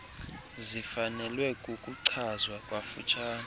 zifanelwe ukuchazwa kafutshane